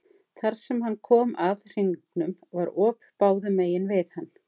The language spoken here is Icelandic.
Þar sem hann kom að hringnum var op báðum megin við hann.